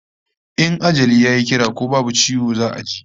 In ajali yayi kira ko babu ciwo za'a je